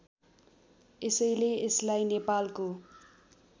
यसैले यसलाई नेपालको